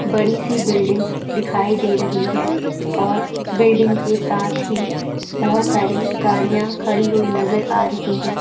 बड़ी सी बिल्डिंगस दिखाई दे रही है और बिल्डिंग के साथ ही बहोत सारी गाड़ियां खड़ी हुई नजर आ रही है।